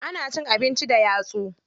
Ana cin abinci da yatsu.